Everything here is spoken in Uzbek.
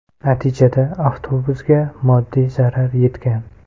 Natijada avtobusga moddiy zarar yetgan.